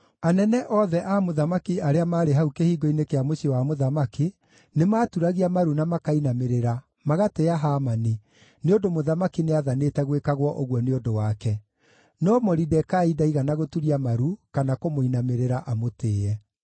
Anene othe a mũthamaki arĩa maarĩ hau kĩhingo-inĩ kĩa mũciĩ wa mũthamaki nĩmaturagia maru na makainamĩrĩra, magatĩĩa Hamani, nĩ ũndũ mũthamaki nĩathanĩte gwĩkagwo ũguo nĩ ũndũ wake. No Moridekai ndaigana gũturia maru kana kũmũinamĩrĩra amũtĩĩe.